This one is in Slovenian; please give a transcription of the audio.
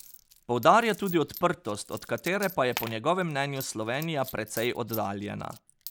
Poudarja tudi odprtost, od katere pa je po njegovem mnenju Slovenija precej oddaljena.